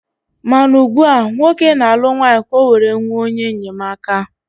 Mana ugbua, nwoke na-alụ nwanyị ka ọ were nwee onye enyemaka.